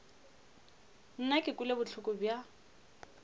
nna ke kwele bohloko bja